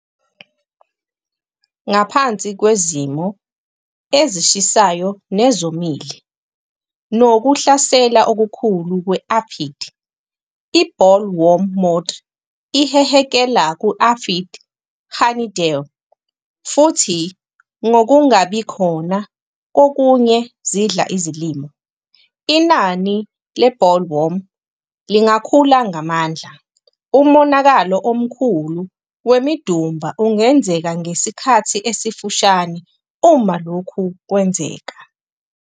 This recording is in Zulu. Ngaphansi kwezimo ezishisayo nezomile nokuhlasela okukhulu kwe-aphid, i-bollworm moths ihehekela ku-aphid honeydew, futhi ngokungabikhona kokunye zidla izilimo, inani le bollworm lingakhula ngamandla. Umonakalo omkhulu wemidumba ungenzeka ngesikhathi esifushane uma lokhu kwenzeka.